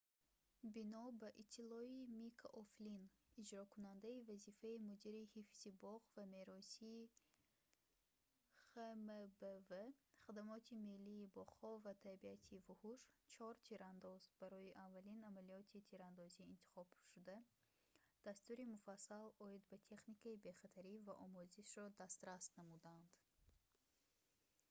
бино ба иттилои мика o'флинн иҷрокунандаи вазифаи мудири ҳифзи боғ ва меросии хмбв хадамоти миллии боғҳо ва табиати вуҳуш чор тирандоз барои аввалин амалиёти тирандозӣ интихобшуда дастури муфассал оид ба техникаи бехатарӣ ва омӯзишро дастрас намуданд